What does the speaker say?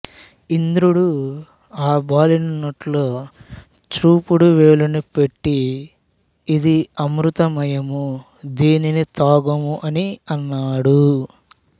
ఇంద్రుడు ఆ బాలుని నోట్లో చూపుడు వ్రేలిని పెట్టి ఇది అమృతమయము దీనిని త్రాగుము అని అన్నాడు